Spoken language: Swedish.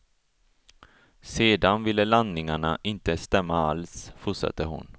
Sedan ville landningarna inte stämma alls, fortsätter hon.